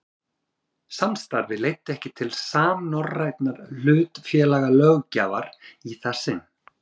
Samstarfið leiddi ekki til samnorrænnar hlutafélagalöggjafar í það sinn.